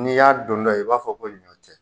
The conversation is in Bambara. N'i y'a dontɔ ye i b'a fɔ ko ɲɔ tɛ